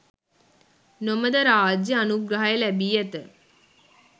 නොමද රාජ්‍යය අනුග්‍රහය ලැබී ඇත.